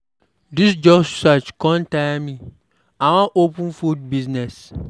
Dis job search con tire me. I wan open food business.